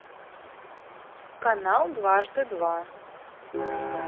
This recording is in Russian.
канал дважды два